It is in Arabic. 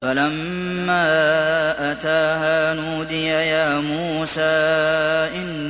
فَلَمَّا أَتَاهَا نُودِيَ يَا مُوسَىٰ